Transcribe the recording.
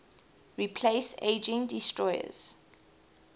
replace aging destroyers